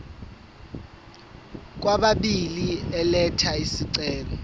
kwababili elatha isicelo